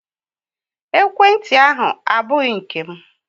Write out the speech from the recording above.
Ekwenti ahụ abụghị nke m